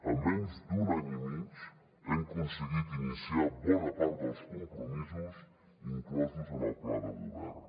en menys d’un any i mig hem aconseguit iniciar bona part dels compromisos inclosos en el pla de govern